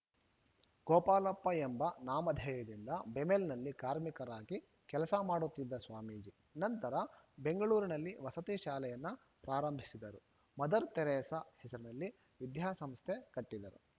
ಗೋಪಾಲಪ್ಪ ಎಂಬ ನಾಮಧೇಯದಿಂದ ಬೆಮಲ್‌ನಲ್ಲಿ ಕಾರ್ಮಿಕರಾಗಿ ಕೆಲಸ ಮಾಡುತ್ತಿದ್ದ ಸ್ವಾಮೀಜಿ ನಂತರ ಬೆಂಗಳೂರಿನಲ್ಲಿ ವಸತಿ ಶಾಲೆಯನ್ನ ಪ್ರಾರಂಭಿಸಿದರು ಮದರ ತೆರೇಸ ಹೆಸರಿನಲ್ಲಿ ವಿದ್ಯಾಸಂಸ್ಥೆ ಕಟ್ಟಿದರು